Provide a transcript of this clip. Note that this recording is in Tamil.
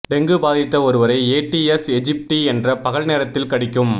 டெங்கு பாதித்த ஒருவரை ஏடிஸ் எஜிப்டி என்ற பகல் நேரத்தில் கடிக்கும்